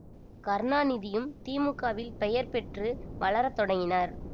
கருணாநிதியும் தி மு க வில் பெயர் பெற்று வளர தொடங்கினர்